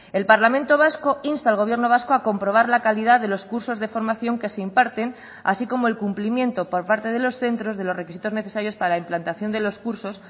el parlamento vasco insta al gobierno vasco a comprobar la calidad de los cursos de formación que se imparten así como el cumplimiento por parte de los centros de los requisitos necesarios para la implantación de los cursos